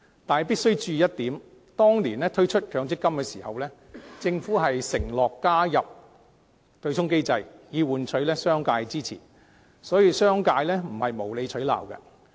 但是，必須注意一點，當年推出強積金時，政府承諾加入對沖機制，以換取商界支持，所以，商界的反對並非無理取鬧。